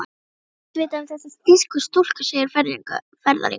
Var ekki allt vitað um þessar þýsku stúlkur, segir ferðalangur.